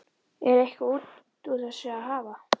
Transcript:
Er eitthvað út úr þessu að hafa?